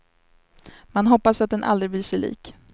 Man hoppas att den aldrig blir sig lik.